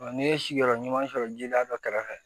n'i ye sigiyɔrɔ ɲuman sɔrɔ jiliya dɔ kɛrɛfɛ